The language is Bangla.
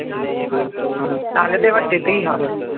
তাহলে তো এবার যেতেই হবে